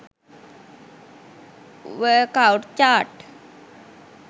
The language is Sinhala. workout chart